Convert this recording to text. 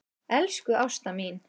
Elsku Ásta mín.